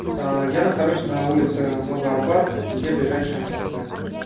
а я нахожусь на улице новый арбат где ближайший мфц